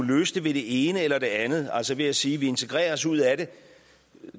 løse det ved det ene eller det andet altså ved at sige vi integrerer os ud af det